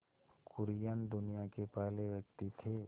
कुरियन दुनिया के पहले व्यक्ति थे